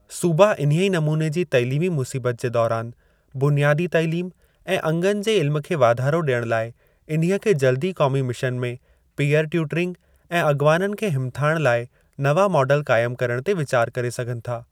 सूबा इन्हीअ नमूने जी तइलीमी मुसीबत जे दौरान बुनियादी तइलीम ऐं अंगनि जे इल्म खे वाधारो डि॒यण लाइ इन्हीअ खे जल्दी क़ौमी मिशन में, पीअर ट्यूटरिंग ऐं अग॒वाननि खे हिमथाइण लाइ नवां मॉडल क़ाइमु करण ते वीचार करे सघनि था।